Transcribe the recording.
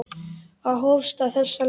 Það hófst á þessa leið.